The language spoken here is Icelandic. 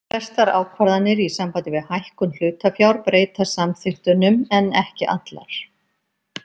Flestar ákvarðanir í sambandi við hækkun hlutafjár breyta samþykktunum en ekki allar.